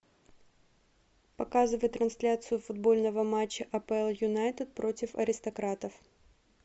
показывай трансляцию футбольного матча апл юнайтед против аристократов